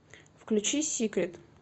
включи сикрет